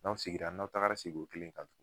N'aw segira n'aw tagara sigi o kelen kan